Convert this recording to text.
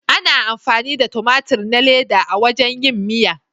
Ana amfani da tumatur na leda a wajen yin miya.